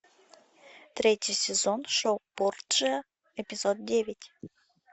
третий сезон шоу борджиа эпизод девять